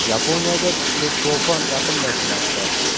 Yaponiyaga kuchli to‘fon yaqinlashmoqda.